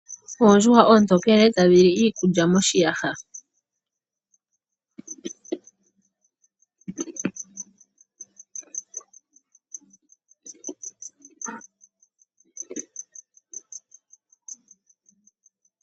Oondjuhwa oontokele tadhi li iikulya moshiyaha.